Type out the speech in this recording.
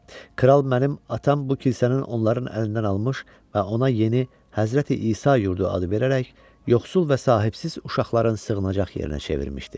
Kral mənim atam bu kilsənin onların əlindən almış və ona yeni Həzrəti İsa yurdu adı verərək yoxsul və sahibsiz uşaqların sığınacaq yerinə çevirmişdi.